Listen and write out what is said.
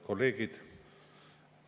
Kolleegid!